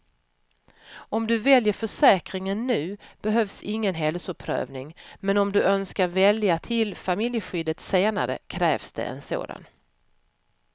Om du väljer försäkringen nu behövs ingen hälsoprövning, men om du önskar välja till familjeskyddet senare krävs det en sådan.